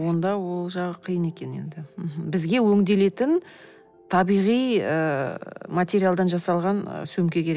онда ол жағы қиын екен енді мхм бізге өңделетін табиғи ыыы материалдан жасалған ы сөмке керек